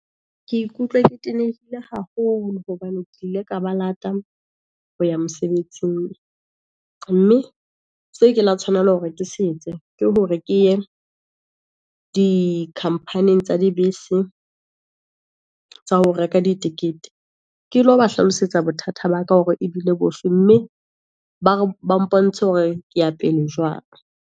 Ke ikutlwa ke tenehile haholo, hobane ke ile ka ba lata ho ya mosebetsing, mme se ke la tshwanela hore ke setse, ke hore ke ye di company-ng tsa dibese, tsa ho reka di tikete. Ke lo ba hlalosetsa bothata ba ka hore ebile bofe, mme bare ba mpontshe hore ke ya pele jwang.